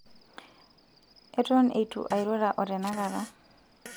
eton eitu airura o tenakata